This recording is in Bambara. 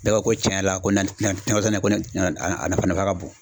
Bɛɛ ko ko cɛn yɛrɛ la ko nakɔsɛnɛ nafa ka bon.